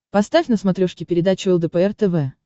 поставь на смотрешке передачу лдпр тв